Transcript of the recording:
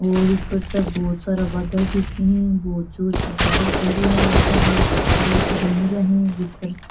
और ऊपर तक बहुत सारा बादल दिखे है बहुत जोर की बारिश हो रही है सब लोग छत्ता लेकर घूम रहे है भीतर --